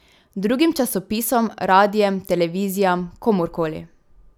Drugim časopisom, radiem, televizijam, komur koli.